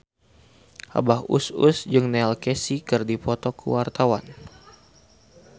Abah Us Us jeung Neil Casey keur dipoto ku wartawan